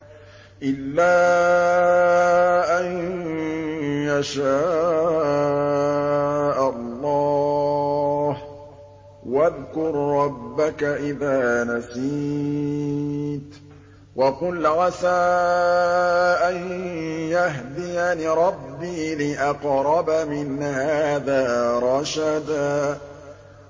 إِلَّا أَن يَشَاءَ اللَّهُ ۚ وَاذْكُر رَّبَّكَ إِذَا نَسِيتَ وَقُلْ عَسَىٰ أَن يَهْدِيَنِ رَبِّي لِأَقْرَبَ مِنْ هَٰذَا رَشَدًا